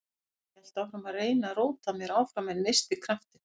Ég hélt áfram að reyna að róta mér áfram en missti kraftinn.